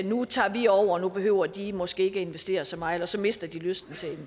nu tager vi over nu behøver de måske ikke at investere så meget og så mister de lysten til